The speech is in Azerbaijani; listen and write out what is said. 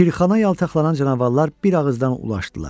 Şirxana yaltaqlanan canavarlar bir ağızdan ulaşdılar.